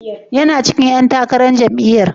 Yana cikin ƴan takarar jam'iyyar?